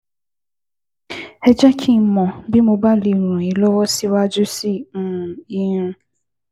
Ẹ jẹ́ kí n mọ̀ bí mo bá lè ràn yín lọ́wọ́ síwájú sí um i